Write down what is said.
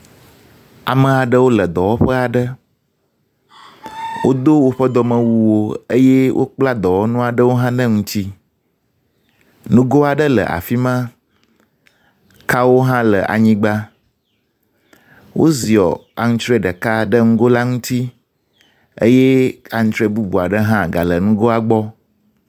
Ame aɖewo le dɔwƒe aɖe w. wodo woƒe dɔmewuwo eye wokpla dɔwɔnu aɖewo hã ɖe ŋuti. Nugo aɖe le afi ma. Kawo hã le anyigba. Woziɔ antrɔe ɖeka ɖe nugo la ŋuti eye antrɔe bubu aɖe hã gale nugoa gbɔ.